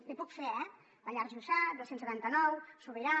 l’hi puc fer eh pallars jussà dos cents i setanta nou mil sobirà